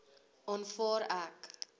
aanvaar ek